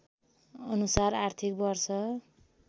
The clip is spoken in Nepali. अनुसार आर्थिक वर्ष